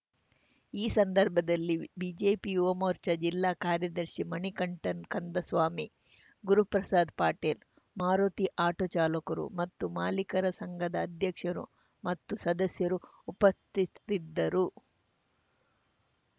ಈ ಸಂದರ್ಭದಲ್ಲಿ ಬಿಜಿಪಿ ಯುವಮೋರ್ಚಾ ಜಿಲ್ಲಾ ಕಾರ್ಯದರ್ಶಿ ಮಣಿಕಂಠನ್‌ ಕಂದಸ್ವಾಮಿ ಗುರುಪ್ರಸಾದ್‌ ಪಟೇಲ್‌ ಮಾರುತಿ ಆಟೋ ಚಾಲಕರು ಮತ್ತು ಮಾಲೀಕರ ಸಂಘದ ಅಧ್ಯಕ್ಷರು ಮತ್ತು ಸದಸ್ಯರು ಉಪಸ್ಥಿತಿರಿದ್ದರು